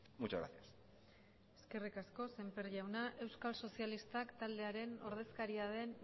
muchas gracias eskerrik asko semper jauna euskal sozialistak taldearen ordezkaria den